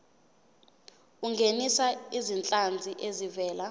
ungenise izinhlanzi ezivela